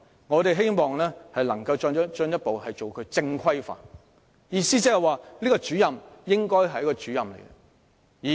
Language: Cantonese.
我們希望能夠進一步把它正規化，意思是該名主任應該是一名真正的主任。